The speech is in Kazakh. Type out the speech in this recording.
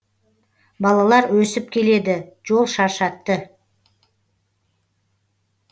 балалар өсіп келеді жол шаршатты